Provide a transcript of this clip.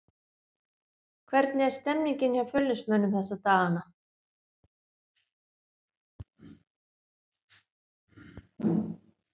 Hvernig er stemningin hjá Fjölnismönnum þessa dagana?